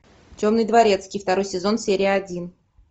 темный дворецкий второй сезон серия один